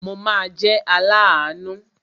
Mo ma jẹ́ aláàánú.